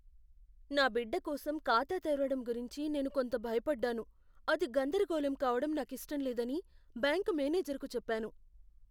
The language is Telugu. నా బిడ్డకోసం ఖాతా తెరవడం గురించి నేను కొంత భయపడ్డాను, అది గందరగోళం కావడం నాకిష్టం లేదని బ్యాంక్ మ్యానేజర్కు చెప్పాను.